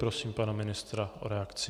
Prosím pana ministra o reakci.